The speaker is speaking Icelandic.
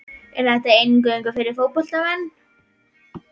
Er þetta eingöngu fyrir fótboltamenn?